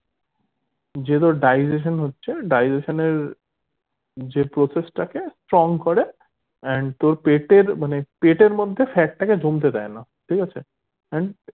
যে তোর digestion হচ্ছে digestion এর যে process টাকে from করে and তোর পেটের মানে পেটের মধ্যে fat টাকে জমতে দেয়না ঠিক আছে